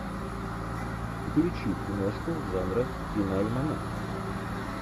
включи киношку жанра киноальманах